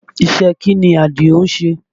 Ìṣe kí ni Àdìó ń ṣe?